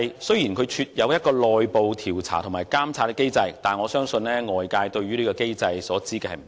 雖然廉署設有內部調查和監察機制，但我相信外界對這項機制所知不多。